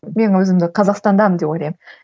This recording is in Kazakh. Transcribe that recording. мен өзімді қазақстандамын деп ойлаймын